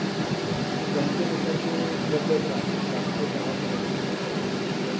अच्छा म्हणजे ते bank नुसार बदलत राहणार सात ते दहा पर्यंत मला मिळेल ते